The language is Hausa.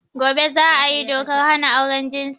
Gobe za a yi dokar hana auren jinsi.